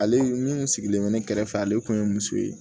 Ale min kun sigilen bɛ ne kɛrɛfɛ ale tun ye muso ye